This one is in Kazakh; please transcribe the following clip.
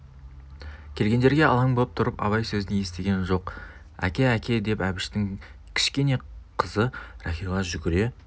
келгендерге алаң боп тұрып абай сөзін естіген жоқ әке әке деп әбіштің кішкене қызы рахила жүгіре